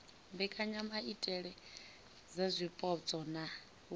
mbekanyamaitele dza zwipotso na u